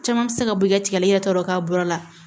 Caman mi se ka bɔ i ka tigɛli yɛrɛ tɔɔrɔ k'a bɔ a la